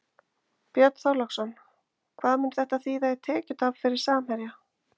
Björn Þorláksson: Hvað mun þetta þýða í tekjutap fyrir Samherja?